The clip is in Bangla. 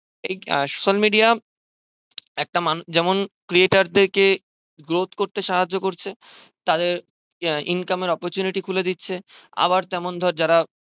social media একটা মানুষ যেমন creator দেরকে growth করতে সাহায্য করছে তাদের আহ incomer opurchunity খুলে দিচ্ছে আবার তেমন ধর যারা